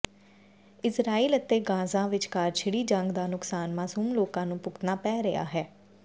Israel ਅਤੇ Gaza ਵਿਚਕਾਰ ਛਿੜੀ ਜੰਗ ਦਾ ਨੁਕਸਾਨ ਮਾਸੂਮ ਲੋਕਾਂ ਨੂੰ ਭੁਗਤਣਾ ਪੈ ਰਿਹਾ ਹੈ